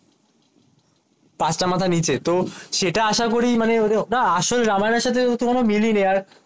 তো পাঁচটা মাথা নিচে তো সেটা আশা করি মানে ওটা আসল রামায়ণ এর সাথে তো কোনো মিলই নেই